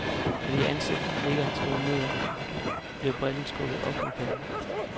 Fordi ansigtet nikker en smule nedad, blev brillerne skubbet op mod panden.